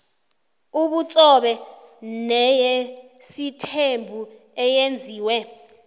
yobutsobe neyesithembu eyenziwe